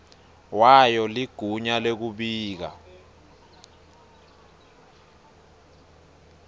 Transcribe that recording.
wayo ligunya lekubika